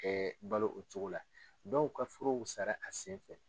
Ɛɛ balo o cogo la dɔw ka furuw sara a senfɛ